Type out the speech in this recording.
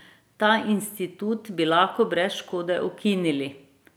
Ta institut bi lahko brez škode ukinili!